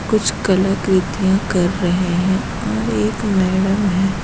कुछ कलाकृतियां कर रहे हैं और एक मैडम है ।